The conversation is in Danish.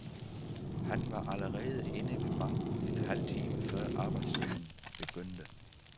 Han var allerede inde ved banken en halv time før arbejdstiden begyndte.